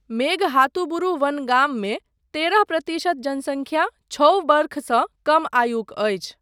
मेघहातुबुरु वन गाममे तरह प्रतिशत जनसंख्या छओ वर्षसँ कम आयुक अछि।